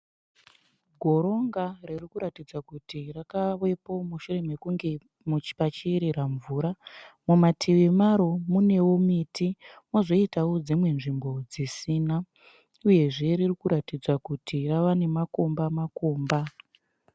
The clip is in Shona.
Goronga riri kutaridza kuti rakavepo mushure mukunge pachiyerera mvura. Mumativi maro munewo miti kozoitawo dzimwe nzvimbo dzisina uyezve riri kutaridza kuti rave nemakomba makomba.